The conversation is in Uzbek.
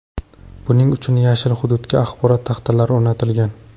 Buning uchun yashil hududga axborot taxtalari o‘rnatilgan.